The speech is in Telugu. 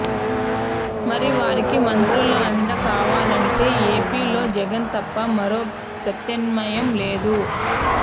మరి వారికి మంత్రుల అండ కావాలంటే ఏపీ లో జగన్ తప్ప మరో ప్రత్నామ్యాయం లేదు